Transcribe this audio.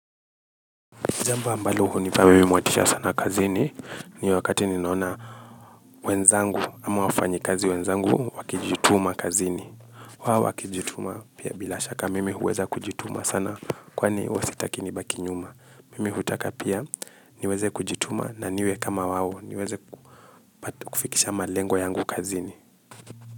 Jambo ambalo hunipa mimi motisha sana kazini ni wakati ninaona wenzangu ama wafanyikazi wenzangu wakijituma kazini. Wao wakijituma pia bila shaka mimi huweza kujituma sana kwani hwa sitaki nibaki nyuma. Mimi hutaka pia niweze kujituma na niwe kama wao niweze kufikisha malengo yangu kazini.